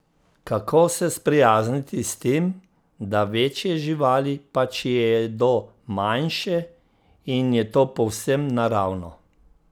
Kako se sprijazniti s tem, da večje živali pač jedo manjše in je to povsem naravno?